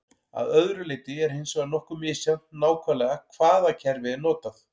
Að öðru leyti er hins vegar nokkuð misjafnt nákvæmlega hvaða kerfi er notað.